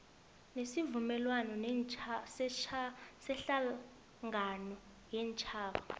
wesivumelwano sehlangano yeentjhaba